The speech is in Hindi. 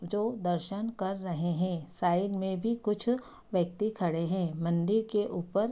जो दर्शन कर रहे है साइड में भी कुछ व्यक्ति खड़े है मन्दिर के ऊपर --